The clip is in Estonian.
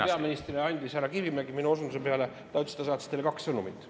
Proua peaministrile saatis härra Kivimägi minu osunduse peale kaks sõnumit.